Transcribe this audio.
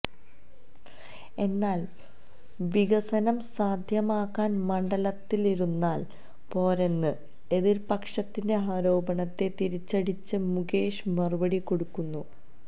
എന്നാല് വികസനം സാധ്യമാക്കാന് മണ്ഡലത്തിലിരുന്നാല് പോരെന്ന് എതിര്പക്ഷത്തിന്റെ ആരോപണത്തെ തിരിച്ചടിച്ച് മുകേഷ് മറുപടി കൊടുക്കുന്നു